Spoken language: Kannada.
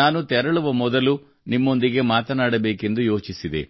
ನಾನು ತೆರಳುವ ಮೊದಲು ನಿಮ್ಮೊಂದಿಗೆ ಮಾತನಾಡಬೇಕೆಂದು ಯೋಚಿಸಿದೆ